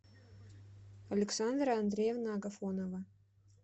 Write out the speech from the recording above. александра андреевна агафонова